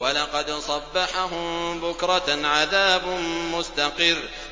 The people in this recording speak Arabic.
وَلَقَدْ صَبَّحَهُم بُكْرَةً عَذَابٌ مُّسْتَقِرٌّ